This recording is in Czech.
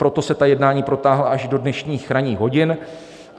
Proto se ta jednání protáhla až do dnešních ranních hodin.